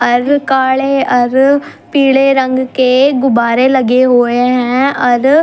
अर काले अर पीले रंग के गुब्बारे लगे हुए हं अर।